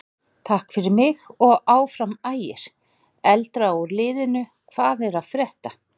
Takk fyrir mig og Áfram Ægir.Eldra úr liðnum Hvað er að frétta?